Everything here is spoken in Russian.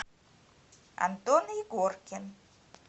антон егоркин